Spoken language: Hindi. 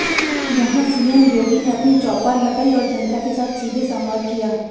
यहां सीएम योगी ने अपनी चौपाल लगाई और जनता के साथ सीधे संवाद किया